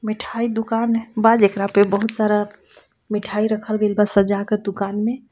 मिठाई दुकान बा जेकरा पे बहुत सारा मिठाई रखल गइल बा सजा कर दुकान में.